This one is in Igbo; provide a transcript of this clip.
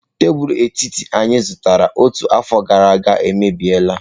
Tebụl etiti anyị zụtara ọtụtụ afọ gara aga emebi la.